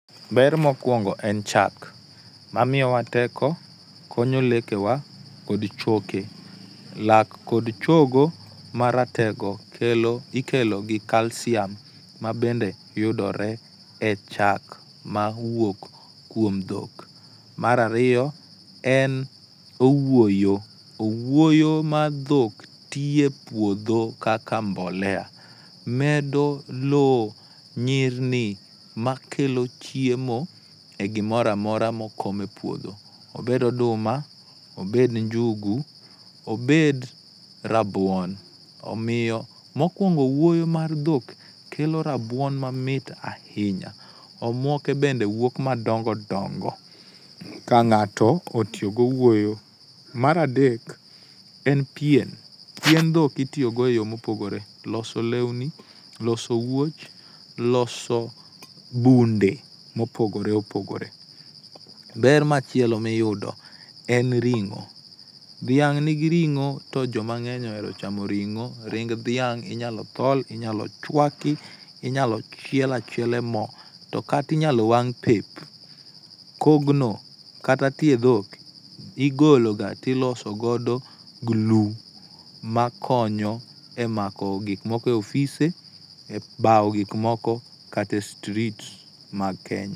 Ber mokuongo en chak, mamiyowa teko, konyo lekewa kod choke. Lak kod chogo maratego kelo ikelo gi calcium ma bende yudore e chak ma wuok kuom dhok. Mar ariyo en owuoyo, owuoyo mar dhok tiyo e puodho kaka mbolea medo lowo nyirni makelo chiemo e gimoro amora mokom e puodho, obed oduma, obed njugu, obed rabuon, omiyo mokuongo owuoyo mar dhok keto rabuon mamit ahinya. Omuoke bende wuok madongo dongo ka ng'ato otiyo gi owuoyo. Mar adek en pien, pien dhok itiyo go eyore mopogore, loso lewni, loso wuoch, loso bunde mopogore opogore. Ber machielo miyudo en ring'o. Dhiang' nigi ring'o to ji mang'eny ohero ring'o. Ring dhiang' inyalo thol, inyalo chuak, inyalo chiel achiela e mo to kata inyalo wang' pep. Kogno kata tiend dhok igologa to iloso godo glu makonyo e mako gik moko e ofise ebawo gik moko kata e street mag Kenya.